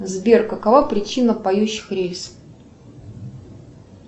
сбер какова причина поющих рельс